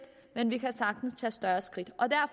men vi kan sagtens tage større skridt